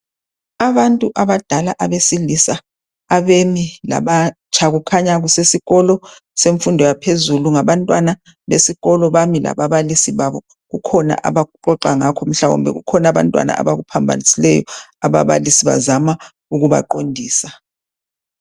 Abantu abadala abesilisa abemi labatsha . Kukhanya kusesikolo semfundo yaphezulu . Ngabantwana besikolo , bami lababalisi babo . Kukhona abaxoxa ngakho, mhlawumbe kukhona abantwana abakuphambanisileyo, ababalisi bazama ukuba qondisa.